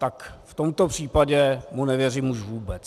Tak v tomto případě mu nevěřím už vůbec.